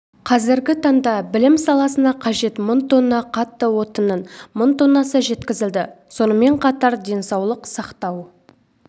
қазіргі таңда білім саласына қажет мың тонна қатты отынның мың тоннасы жеткізілді сонымен қатар денсаулық сақтау